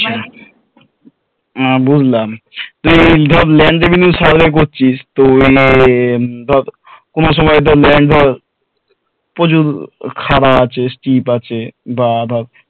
আহ বুঝলাম তুই ধর land revenue survey করছিস তো এই ধর কোনো সময়ে land ধর প্রচুর খাড়া আছে stiff আছে বা